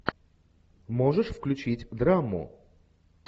можешь включить драму